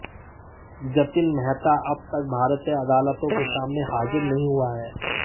जतिन मेहता अब तक भारतीय अदालतों के सामने हाजिर नहीं हुआ है